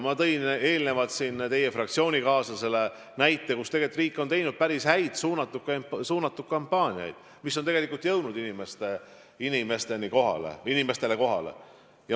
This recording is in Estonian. Ma tõin enne teie fraktsioonikaaslasele näite, mis valdkonnas riik on teinud päris häid suunatud kampaaniaid, mille sõnum on jõudnud inimestele kohale.